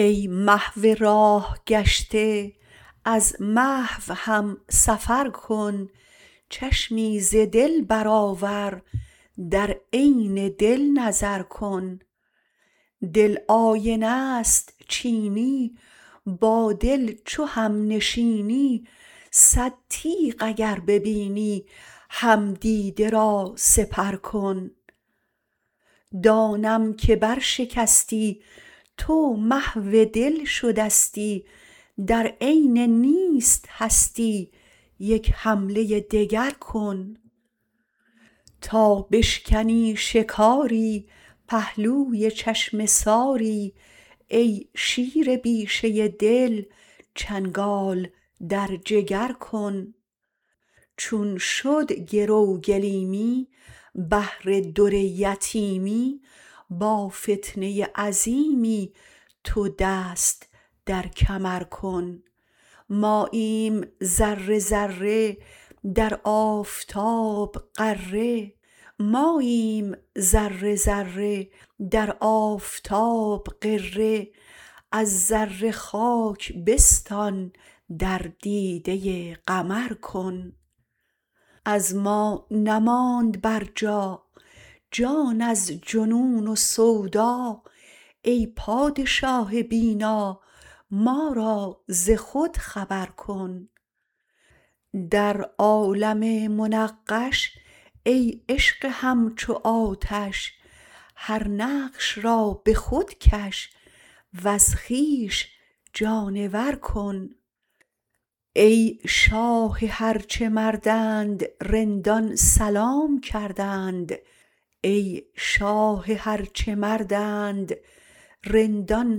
ای محو راه گشته از محو هم سفر کن چشمی ز دل برآور در عین دل نظر کن دل آینه است چینی با دل چو همنشینی صد تیغ اگر ببینی هم دیده را سپر کن دانم که برشکستی تو محو دل شدستی در عین نیست هستی یک حمله دگر کن تا بشکنی شکاری پهلوی چشمه ساری ای شیر بیشه دل چنگال در جگر کن چون شد گرو گلیمی بهر در یتیمی با فتنه عظیمی تو دست در کمر کن ماییم ذره ذره در آفتاب غره از ذره خاک بستان در دیده قمر کن از ما نماند برجا جان از جنون و سودا ای پادشاه بینا ما را ز خود خبر کن در عالم منقش ای عشق همچو آتش هر نقش را به خود کش وز خویش جانور کن ای شاه هر چه مردند رندان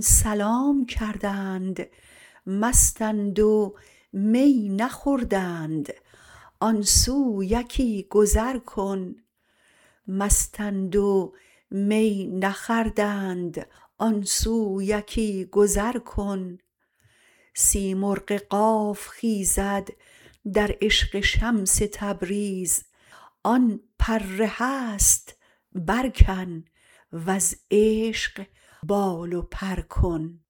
سلام کردند مستند و می نخوردند آن سو یکی گذر کن سیمرغ قاف خیزد در عشق شمس تبریز آن پر هست برکن وز عشق بال و پر کن